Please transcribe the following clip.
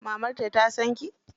Mamarta ta san ki?